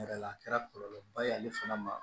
Yɛrɛ la a kɛra kɔlɔlɔ ba ye ale fana ma